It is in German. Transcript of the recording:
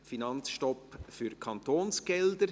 Finanzstopp für Kantonsgelder».